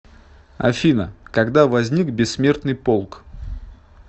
афина когда возник бессмертный полк